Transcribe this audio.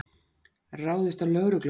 Ráðist á lögreglumann